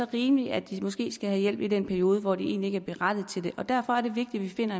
rimeligt at de måske skal have hjælp i den periode hvor de egentlig ikke er berettiget til det derfor er det vigtigt at